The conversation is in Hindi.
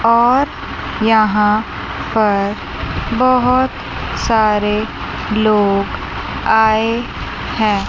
और यहां पर बहुत सारे लोग आए हैं।